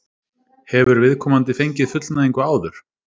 Hefur viðkomandi fengið fullnægingu áður?